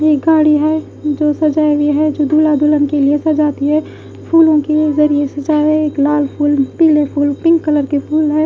ये गाड़ी है जो सजाई हुए है जो दुला दुलन के लिए सजाती है फूलों के जरिए हुए एक लाल फूल पीले फूल पिंक कलर के फूल है।